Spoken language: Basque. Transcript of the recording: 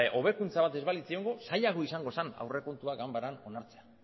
hobekuntza bat ez balitz egongo zailagoa izango zen aurrekontuak ganbaran onartzea